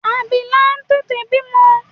Abila tètè bímọ.